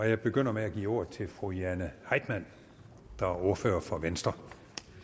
jeg begynder med at give ordet til fru jane heitmann der er ordfører for venstre